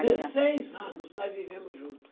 Dezesseis anos nós vivemos junto.